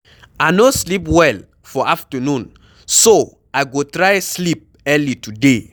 I no sleep well for afternoon so I go try sleep early today.